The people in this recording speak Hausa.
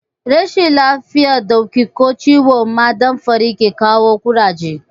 Rashin lafiyan dauki ko ciwon ma damfari ke kawo Ƙuraje